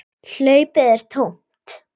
Hlaupið er tómt.